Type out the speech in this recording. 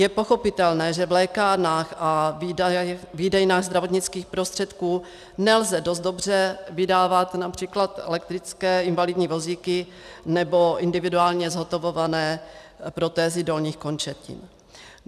Je pochopitelné, že v lékárnách a výdejnách zdravotnických prostředků nelze dost dobře vydávat například elektrické invalidní vozíky nebo individuálně zhotovované protézy dolních končetin.